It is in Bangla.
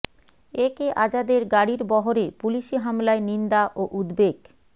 এ কে আজাদের গাড়ির বহরে পুলিশি হামলায় নিন্দা ও উদ্বেগ